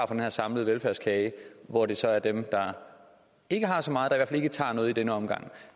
den her samlede velfærdskage hvor det så er dem der ikke har så meget der ikke tager noget i denne omgang